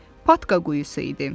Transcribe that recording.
Patka quyusu idi.